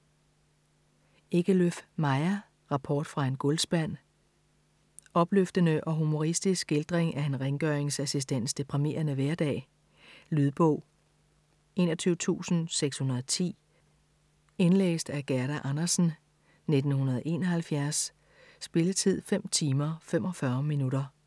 Ekelöf, Maja: Rapport fra en gulvspand Opløftende og humoristisk skildring af en rengøringsassistents deprimerende hverdag. Lydbog 21610 Indlæst af Gerda Andersen, 1971. Spilletid: 5 timer, 45 minutter.